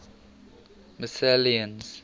mcclennan's